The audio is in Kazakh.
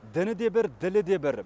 діні де бір ділі де бір